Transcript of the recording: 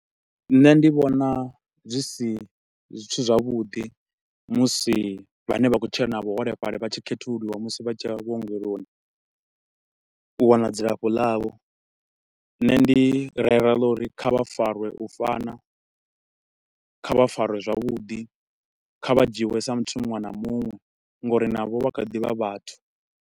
Nṋe ndi vhona zwi si zwithu zwavhuḓi musi vhane vha khou tshila na vhuholefhali vha tshi khethululiwa musi vha tshi ya vhuongeloni u wana dzilafho ḽavho nṋe ndi rera ḽa uri kha vha farwe u fana, kha vha farwe zwavhudi, kha vha dzhiiwe sa muthu munwe na munwe nga uri navho vha kha ḓivha vhathu.